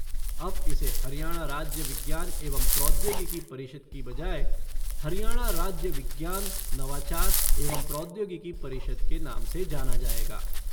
अब इसे हरियाणा राज्य विज्ञान एवं प्रौद्योगिकी परिषद के बजाय ' हरियाणा राज्य विज्ञान, नवाचार एवं प्रौद्योगिकी परिषद ' के नाम से जाना जाएगा।